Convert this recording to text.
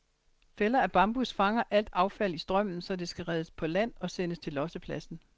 Fælder af bambus fanger alt affald i strømmen, så det kan reddes på land og sendes til lossepladsen.